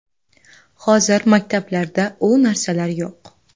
Hozir maktablarda u narsalar yo‘q.